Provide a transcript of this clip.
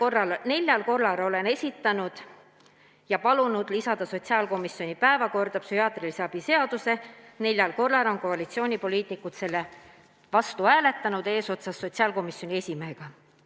Olen neljal korral palunud sotsiaalkomisjoni päevakorda lisada psühhiaatrilise abi seaduse ning neljal korral on koalitsioonipoliitikud selle vastu hääletanud, eesotsas sotsiaalkomisjoni esimehega.